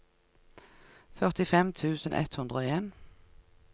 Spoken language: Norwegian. førtifem tusen ett hundre og en